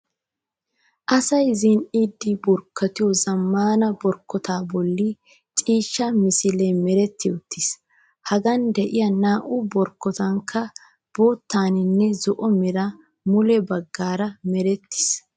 Asayi zin'iiddi borkkotiyoo zammaana borkkotaa bolli ciishshaa misilee meretti uttis. Hagan diyaa naa'u borkkotatunkka bottaaninne zo''o meran mule baggaara merettis.